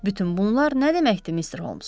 Bütün bunlar nə deməkdir, Mister Holms?